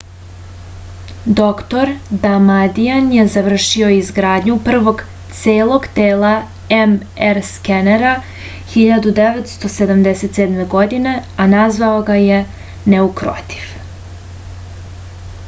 doktor damadian je završio izgradnju prvog celo telo mr skenera 1977. godine a nazvao ga je neukrotiv